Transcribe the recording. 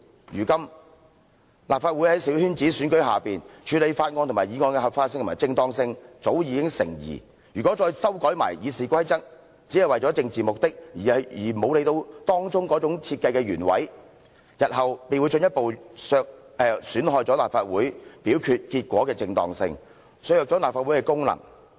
如今，立法會在小圈子選舉之下，處理法案及議案的合法性及正當性早已成疑，如果再修改《議事規則》，只是為了政治目的，而沒有理會當中的設計原委，日後便會進一步損害了立法會表決結果的正當性，削弱了立法會的功能。